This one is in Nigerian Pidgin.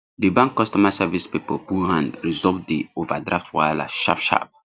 di bank customer service people put hand resolve the overdraft wahala sharp sharp